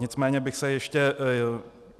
Nicméně bych se ještě...